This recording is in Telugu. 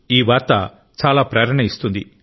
ఈ వార్త చాలా ప్రేరణ ఇస్తుంది